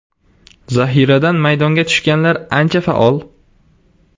Zahiradan maydonga tushganlar ancha faol.